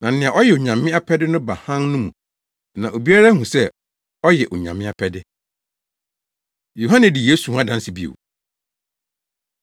Na nea ɔyɛ Onyame apɛde no ba Hann no mu na obiara ahu sɛ ɔyɛ Onyame apɛde.” Yohane Di Yesu Ho Adanse Bio